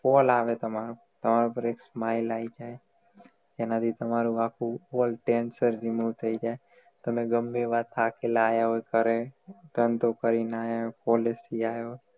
call આવે તમારા પર એક smile આઈ જાય જેના થી આખુ world change થઈ ગયેલું થઈ જાય અને ગમે એવા ધાકેલાં આયા હોય ઘરે ધંધો કરી ને આયા હોય college થી આયા હોય